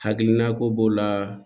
Hakilina ko b'o la